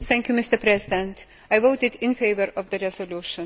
Mr President, I voted in favour of the resolution.